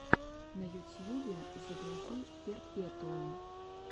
на ютьюбе загрузи перпетуум